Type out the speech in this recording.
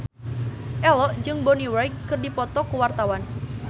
Ello jeung Bonnie Wright keur dipoto ku wartawan